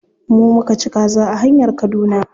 Mu muka ci kaza a hanyar kaduna.